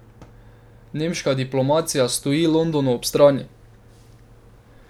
Nemška diplomacija stoji Londonu ob strani.